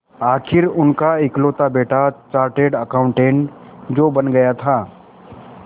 आखिर उनका इकलौता बेटा चार्टेड अकाउंटेंट जो बन गया था